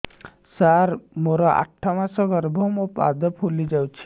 ସାର ମୋର ଆଠ ମାସ ଗର୍ଭ ମୋ ପାଦ ଫୁଲିଯାଉଛି